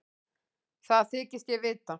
Það þykist ég vita.